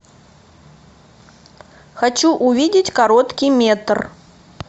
хочу увидеть короткий метр